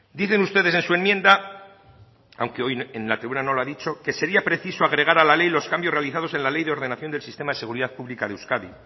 dicen ustedes en su enmienda aunque hoy en la tribuna no lo ha dicho que sería preciso agregar a la ley los cambios realizados en la ley de ordenación del sistema de seguridad pública de euskadi